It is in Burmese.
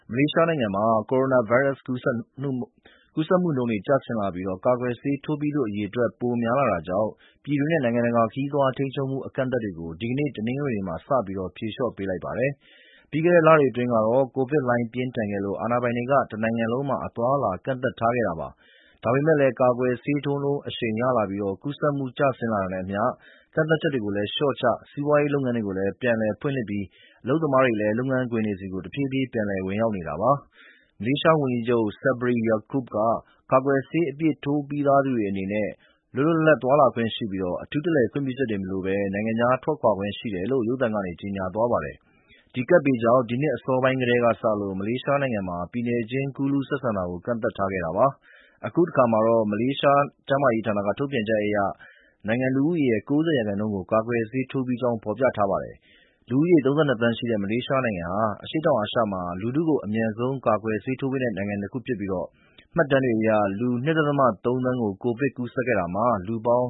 မလေးရှားနိုင်ငံမှာ ကိုရိုနာဗိုင်းရပ်စ် ကူးစက်မှုနှုန်း ကျဆင်းလာပြီး ကာကွယ်ဆေးထိုးပြီးသူ အရေအတွက် ပိုများလာတာကြောင့် ပြည်တွင်းနဲ့ နိုင်ငံတကာ ခရီးသွားထိန်းချုပ်မှု အကန့်အသတ်တွေကို ဒီကနေ့ တနင်္ဂနွေနေ့မှာ စပြီး ဖြေလျှော့ပေးလိုက်ပါတယ်။ ပြီးခဲ့တဲ့လတွေ အတွင်းကတော့ ကိုဗစ်လှိုင်းပြင်းထန်ခဲ့လို့ အာဏာပိုင်တွေက တနိုင်ငံလုံးမှာ အသွားအလာ ကန့်သတ်ထားခဲ့တာပါ။ ဒါပေမယ့်လည်း ကာကွယ်ဆေးထိုးနှုန်း အရှိန်ရလာပြီး ကူးစက်မှု ကျဆင်းလာတာနဲ့အမျှ ကန့်သတ်ချက်တွေကိုလည်း လျှော့ချ၊ စီးပွားရေး လုပ်ငန်းတွေကိုလည်း ပြန်လည်ဖွင့်လှစ်ပြီး အလုပ်သမားတွေလည်း လုပ်ငန်းခွင်တွေဆီ တဖြည်းဖြည်း ပြန်လည်ဝင်ရောက်နေတာပါ။ မလေးရှားဝန်ကြီးချုပ် Sabri Yaakob က ကာကွယ်ဆေးအပြည့် ထိုးထားပြီးသူတွေ အနေနဲ့ လွတ်လွတ်လပ်လပ် သွားလာခွင့်ရှိပြီး အထူးတလည် ခွင့်ပြုချက်တွေမလိုဘဲ နိုင်ငံခြားထွက်ခွာခွင့်ရှိတယ်လို့ ရုပ်သံကနေ ကြေညာသွားပါတယ်။ ကပ်ဘေးကြောင့် ဒီနှစ်အစောပိုင်းကတည်းကစလို့ မလေးရှားနိုင်ငံမှာ ပြည်နယ်ချင်း ကူးလူးဆက်ဆံတာကို ကန့်သတ်ထားခဲ့တာပါ။ အခုအခါမှာတော့ မလေးရှား ကျန်းမာရေးဌာနက ထုတ်ပြန်ချက်အရ နိုင်ငံလူဦးရေရဲ့ ၉၀ ရာခိုင်နှုန်းကို ကာကွယ်ဆေးထိုးပြီးကြောင်း ဖော်ပြထားပါတယ်။ လူဦးရေ ၃၂ သန်းရှိတဲ့ မလေးရှားနိုင်ငံဟာ အရှေ့တောင်အာရှမှာ လူထုကို အမြန်ဆုံး ကာကွယ်ဆေးထိုးပေးနိုင်တဲ့ နိုင်ငံတခုဖြစ်ပြီး မှတ်တမ်းများအရ လူ ၂.၃ သန်း ကိုဗစ်ကူးစက်ခဲ့တာမှာ လူပေါင်